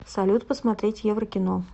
салют посмотреть еврокино